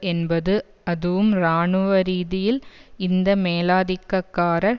என்பது அதுவும் இராணுவரீதியில் இந்த மேலாதிக்கக்காரர்